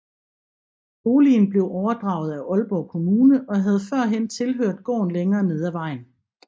Boligen blev overdraget af Aalborg Kommune og havde førhen tilhørt gården længere nede af vejen